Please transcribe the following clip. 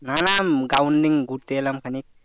না না ground এ ঘুরতে এলাম খানিক ।